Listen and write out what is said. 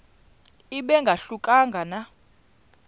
ibe ingahluka nanga